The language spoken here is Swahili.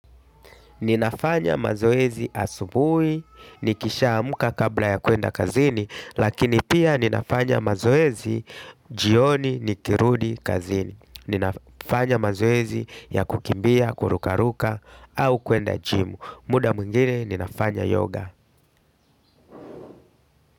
Ninafanya mazoezi asubuhi, nikishaamka kabla ya kwenda kazini, lakini pia ninafanya mazoezi jioni nikirudi kazini. Ninafanya mazoezi ya kukimbia, kurukaruka, au kuenda jimu. Muda mwingine, ninafanya yoga.